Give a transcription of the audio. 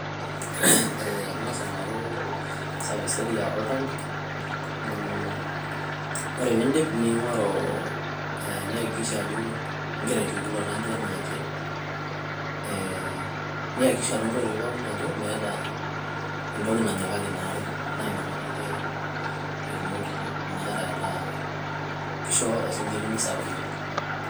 ngasa aingoru service area oltanki woore pindiip niakikisha ajoo igira asuuj ilo oltanki enaake niakikisha ajoo meeta oltungani onyikaki inaare nanakate ake injoo sinkiri misurviver